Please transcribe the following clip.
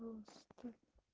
монстр